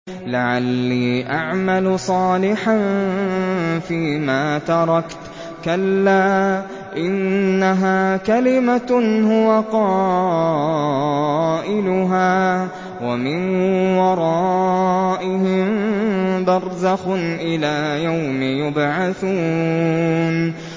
لَعَلِّي أَعْمَلُ صَالِحًا فِيمَا تَرَكْتُ ۚ كَلَّا ۚ إِنَّهَا كَلِمَةٌ هُوَ قَائِلُهَا ۖ وَمِن وَرَائِهِم بَرْزَخٌ إِلَىٰ يَوْمِ يُبْعَثُونَ